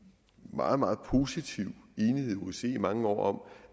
meget meget positiv enighed i osce i mange år om